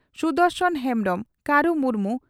Sudarshan Hembrom Karu Murmu